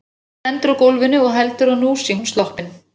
Edda lendir á gólfinu og heldur að nú sé hún sloppin.